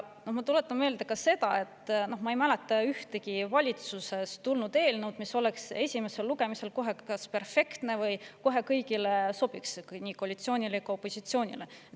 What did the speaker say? Ma tuletan meelde ka seda, et minu mäletamist mööda ei ole tulnud valitsusest ühtegi eelnõu, mis oleks kohe esimesel lugemisel olnud perfektne või sobinud kõigile, nii koalitsioonile kui ka opositsioonile.